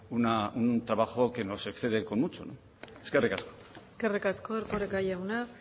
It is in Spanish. no se excede con mucho eskerrik asko eskerrik asko erkoreka jauna